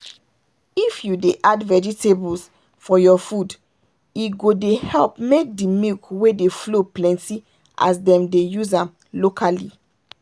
if you dey add vegetables for your food e go dey help make the milk wey dey flow plenty as them dey use am locally.